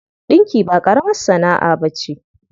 Ɗinki ba ƙaramar sana'a ba ce.